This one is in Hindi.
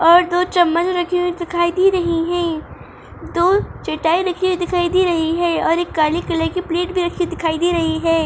और दो चम्मच रखी हुई दिखाई दे रही हैं दो चटाई रखी हुई दिखाई दे रही हैं और एक काले कलर की प्लेट भी रखी दिखाई दे रही है।